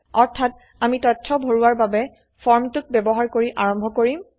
অৰ্থাত আমি তথ্য ভৰোৱাবৰ বাবে ফৰ্মটোক ব্যবহাৰ কৰি আৰম্ভ কৰিম